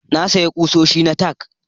Na sayi kusoshi na tack